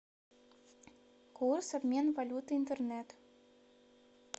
курс обмен валюты интернет